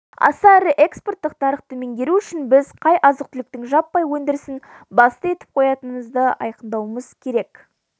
аса ірі экспорттық нарықты меңгеру үшін біз қай азық-түліктің жаппай өндірісін басты етіп қоятынымызды айқындауымыз керек